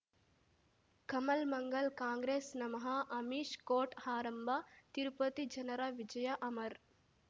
Kamal Mangal Congress ನಮಃ Amish court ಆರಂಭ ತಿರುಪತಿ ಜನರ ವಿಜಯ ಅಮರ್